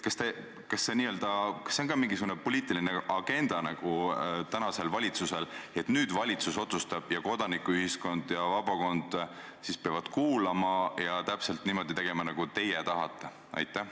Kas see on tänasel valitsusel ka n-ö mingisugune poliitiline agenda, et valitsus otsustab ja kodanikuühiskond ja vabakond peavad kuulama ja tegema täpselt niimoodi, nagu teie tahate?